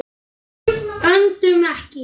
Öndum ekki.